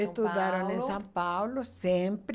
São Paulo Estudaram em São Paulo sempre.